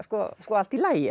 allt í lagi